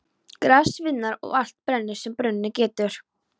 Gras sviðnar og allt brennur sem brunnið getur.